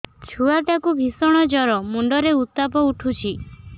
ଛୁଆ ଟା କୁ ଭିଷଣ ଜର ମୁଣ୍ଡ ରେ ଉତ୍ତାପ ଉଠୁଛି